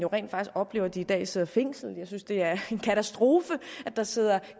rent faktisk oplever at de i dag sidder fængslet jeg synes det er en katastrofe at der sidder